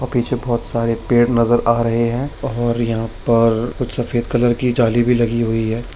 वहाँ पीछे बहुत सारे पेड़ नजर आ रहें हैं और यहाँ पर कुछ सफेद कलर की जाली भी लगी हुई है।